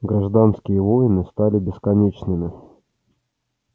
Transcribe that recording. гражданские войны стали бесконечными